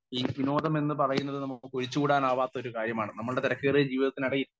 speaker 1 ഈ വിനോദം എന്നു പറയുന്നത് നമുക്ക് ഒഴിച്ച് കൂടാനാവാത്ത ഒരു കാര്യമാണ് നമ്മുടെ തിരക്കേറിയ ജീവിതത്തിനിടയിൽ